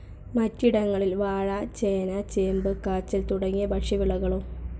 മറ്റിടങ്ങളിൽ വാഴ, ചേന, ചേമ്പ്‌, കാച്ചിൽ തുടങ്ങിയ ഭക്ഷ്യവിളകളും.